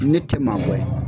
Ne tɛ maa